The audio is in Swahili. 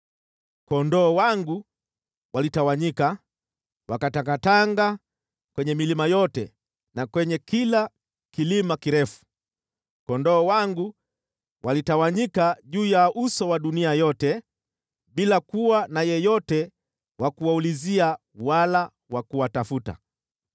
Kondoo wangu walitawanyika, wakatangatanga kwenye milima yote na kwenye kila kilima kirefu. Kondoo wangu walitawanyika juu ya uso wa dunia yote bila kuwa na yeyote wa kuwaulizia wala wa kuwatafuta.